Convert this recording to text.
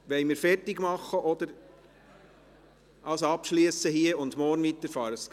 Wollen wir hier unterbrechen und morgen weiterfahren?